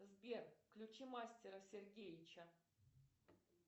сбер включи мастера сергеича